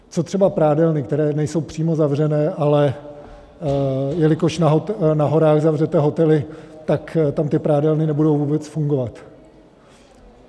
Co třeba prádelny, které nejsou přímo zavřené, ale jelikož na horách zavřete hotely, tak tam ty prádelny nebudou vůbec fungovat?